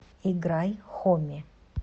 играй хоми